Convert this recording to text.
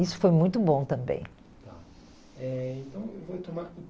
Isso foi muito bom também. Tá, eh, então eu vou retomar...